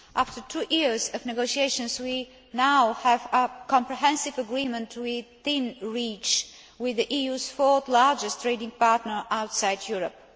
After two years of negotiations, we now have a comprehensive agreement within reach with the EU's fourth largest trading partner outside Europe.